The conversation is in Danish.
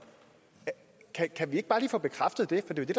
kan vi ikke bare lige få bekræftet det